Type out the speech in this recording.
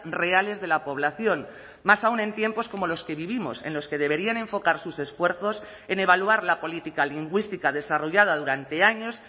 reales de la población más aún en tiempos como los que vivimos en los que deberían enfocar sus esfuerzos en evaluar la política lingüística desarrollada durante años